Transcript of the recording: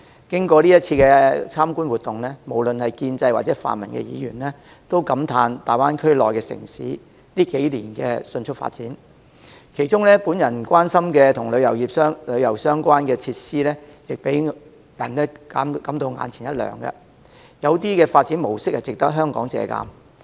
經過這次參觀活動，無論是建制或泛民議員，均感嘆大灣區內的城市近數年的迅速發展，其中我關心的與旅遊相關的設施亦讓人眼前一亮，有些發展模式值得香港借鑒。